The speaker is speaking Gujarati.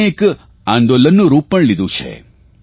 તેણે એક આંદોલનનું રૂપ પણ લીધું છે